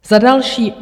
Za další.